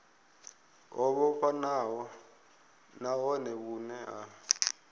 ho vhofhanaho nahone vhune ha